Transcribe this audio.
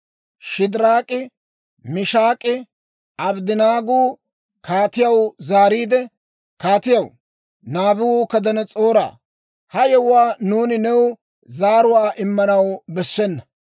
Shidiraak'i, Mishaak'inne Abddanaaguu kaatiyaw zaariide, «Kaatiyaw, Naabukadanas'ooraa, ha yewuwaa nuuni new zaaruwaa immanaw bessena.